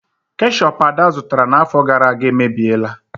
Keshup Ada zụtara n'afọ gara aga emebiela.